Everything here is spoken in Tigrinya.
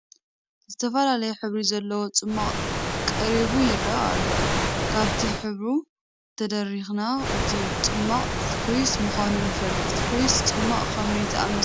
ዝተፈላለየ ሕብሪ ዘለዎ ፅማቕ ቀሪቡ ይርአ ኣሎ፡፡ ካብቲ ሕብሩ ተደሪኽና እቲ ፅሟቕ ስፕሪስ ምዃኑ ንፈልጥ፡፡ ስፕሪስ ፅሟቕ ከመይ ዝኣምሰለ እዩ?